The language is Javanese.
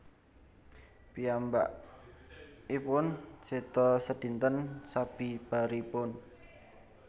Piyambakipun seda sedinten sabibaripun